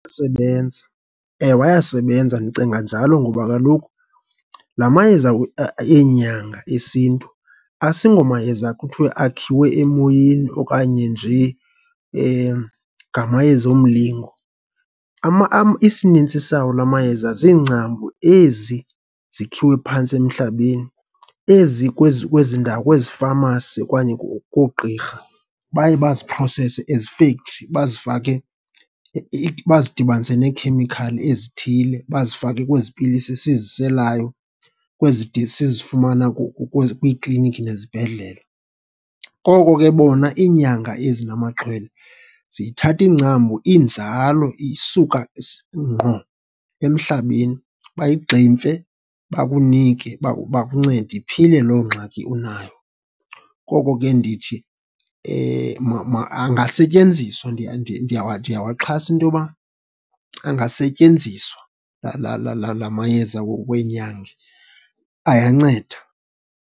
sebenza, ewe, ayasebenza. Ndicinga njalo ngoba kaloku la mayeza eenyanga esintu asingomayeza kuthiwe akhiwe emoyeni okanye nje ngamayeza omlingo. Isinintsi sawo la mayeza ziingcambu ezi zikhiwe phantsi emhlabeni, ezi kwezi kwezi ndawo, kwezi famasi okanye koogqirha baye baziprowusese ezifektri, bazifake bazidibanise neekhemikhali ezithile, bazifake kwezi pilisi siziselayo, kwezi de sizifumana kwezi kwiiklinikhi nezibhedlele. Koko ke bona iinyanga ezi namaxhwele ziyithatha ingcambu injalo, isuka ngqo emhlabeni bayigximfe bakunike uba bakuncede, iphile loo ngxaki unayo. Koko ke ndithi angasetyenziswa ndiyawaxhasa into yoba angasetyenziswa la la la la mayeza weenyanga, ayanceda.